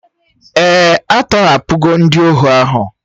Èè, a tọhapụwo ndị ohu ahụ